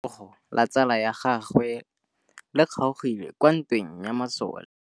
Letsôgô la tsala ya gagwe le kgaogile kwa ntweng ya masole.